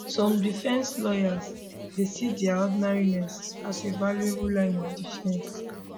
some defence lawyers dey see dia ordinariness as a a valuable line of defence